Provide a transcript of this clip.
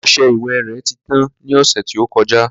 Ọsẹ ìwẹ̀ rẹ̀ ti tán ní ọ̀sẹ̀ tí ó kọjá